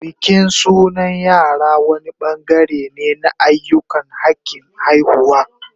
Bikin sunan yara wani bangare ne na ayyukan hakin haihuwa